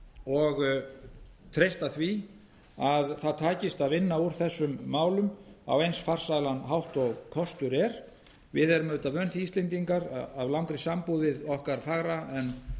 og treysta því að það takist að vinna úr þessum málum á eins farsælan hátt og kostur er við erum auðvitað vön því íslendingar af langri sambúð við okkar fögru en